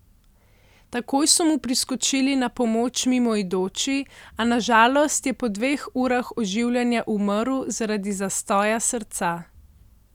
Takoj so mu priskočili na pomoč mimoidoči, a na žalost je po dveh urah oživljanja umrl zaradi zastoja srca.